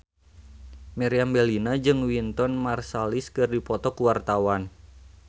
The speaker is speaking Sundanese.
Meriam Bellina jeung Wynton Marsalis keur dipoto ku wartawan